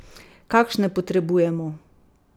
Kakšne potrebujemo?